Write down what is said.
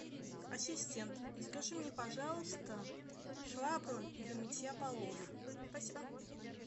ассистент закажи мне пожалуйста швабру для мытья полов спасибо